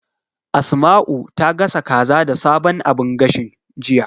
Asma'u ta gasa kaza da sabon abun gashin, jiya.